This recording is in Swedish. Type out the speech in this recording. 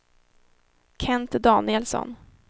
Kent Danielsson